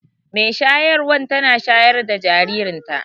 mai shayarwan tana shayar da jaririnta